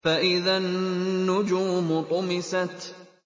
فَإِذَا النُّجُومُ طُمِسَتْ